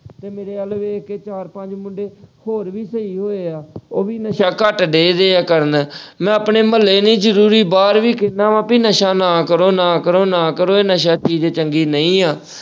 ਤੇ ਮੇਰੇ ਵੱਲ ਵੇਖ ਕੇ ਚਾਰ ਪੰਜ ਮੁੰਡੇ ਹੋਰ ਵੀ ਸਹੀ ਹੋਏ ਆ ਉਹ ਵੀ ਨਸ਼ਾ ਘੱਟ ਡਏ ਵਏ ਆ ਕਰਨ। ਮੈਂ ਆਪਣੇ ਮੁਹੱਲੇ ਹੀ ਨਹੀਂ ਜ਼ਰੂਰੀ ਬਾਹਰ ਵੀ ਕਹਿਣਾ ਵਾ ਕਿ ਨਸ਼ਾ ਨਾ ਕਰੋ, ਨਾ ਕਰੋ, ਨਾ ਕਰੋ ਇਹ ਨਸ਼ਾ ਚੀਜ਼ ਚੰਗੀ ਨਹੀਂ ਆ।